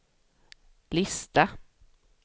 lista